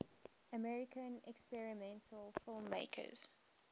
american experimental filmmakers